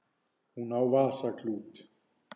Hún á vasaklút.